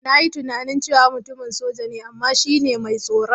Na yi tunani cewa mutumin soja ne, amma shi ne mai tsoron.